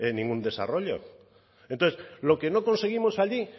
tenga ningún desarrollo entonces lo que no conseguimos allí